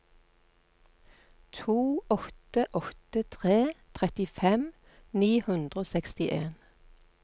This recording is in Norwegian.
to åtte åtte tre trettifem ni hundre og sekstien